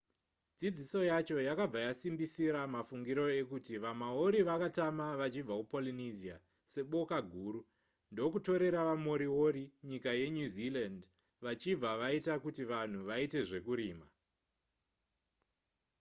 dzidziso yacho yakabva yasimbisira mafungiro ekuti vamaori vakatama vachibva kupolynesia seboka guru ndokutorera vamoriori nyika yenew zealand vachibva vaita kuti vanhu vaite zvekurima